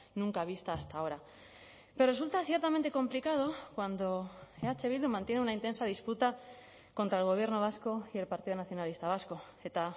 nunca vista hasta ahora pero resulta ciertamente complicado cuando eh bildu mantiene una intensa disputa contra el gobierno vasco y el partido nacionalista vasco eta